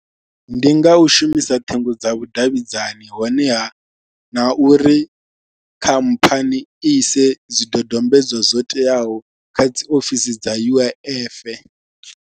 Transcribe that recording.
Ndi nga u shumisa ṱhingo dza vhudavhidzani honeha na uri khamphani ise dzi dodombedzwa zwo teaho kha dzi ofisini dza U_I_F.